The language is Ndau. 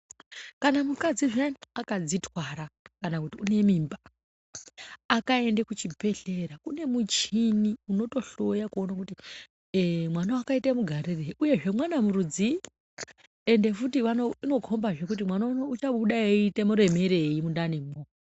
Kana mukadzi akanzi twara kana kuti unemimba akaende kuchibhedhlera kune muchini unotohloya kuona kuti mwana akaite mugarireyi uyezve mwana rudziyi ende futi unokomba kuti mwana achabude achiremerei muntani imomo.